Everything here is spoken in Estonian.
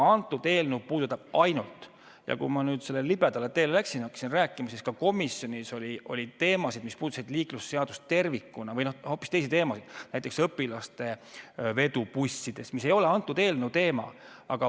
Ma läksin sellele libedale teele ja hakkasin rääkima, et ka komisjonis oli teemasid, mis puudutasid liiklusseadust tervikuna või hoopis teisi teemasid, näiteks õpilaste vedu bussides, mis ei ole selle eelnõu teema.